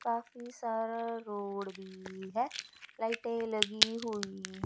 काफी सारा रोड भी है। लाइटे लगी हुई--